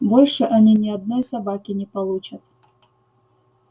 больше они ни одной собаки не получат